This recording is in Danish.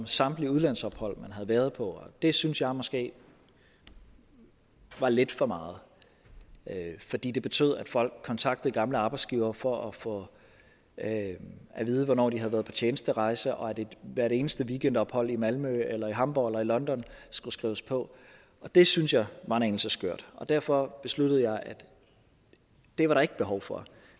samtlige udlandsophold man havde været på det synes jeg måske var lidt for meget fordi det betød at folk kontaktede gamle arbejdsgivere for at få at at vide hvornår de havde været på tjenesterejse og at hvert eneste weekendophold i malmø eller i hamborg eller i london skulle skrives på det synes jeg var en anelse skørt og derfor besluttede jeg at det var der ikke behov for